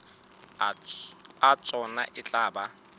a tsona e tla ba